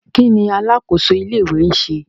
Kí ni alákòóso ilé-ìwé ń ṣe?